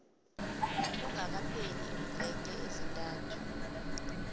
kungakapheli iimveke ezintathu